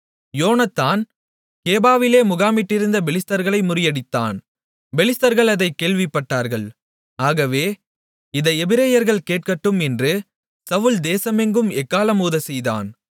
யோனத்தான் கேபாவிலே முகாமிட்டிருந்த பெலிஸ்தர்களை முறியடித்தான் பெலிஸ்தர்கள் அதைக் கேள்விப்பட்டார்கள் ஆகவே இதை எபிரெயர்கள் கேட்கட்டும் என்று சவுல் தேசமெங்கும் எக்காளம் ஊதச்செய்தான்